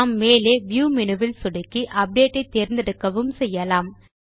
நாம் மேலே view menu சொடுக்கி அப்டேட் ஐ தேர்ந்தெடுக்கவும் செய்யலாம்